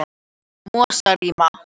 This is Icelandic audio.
Mosarima